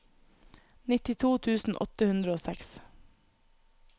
nittito tusen åtte hundre og seks